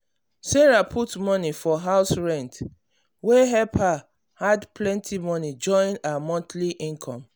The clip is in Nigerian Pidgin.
sarah put money for house rent wey help her add plenty money join her monthly income.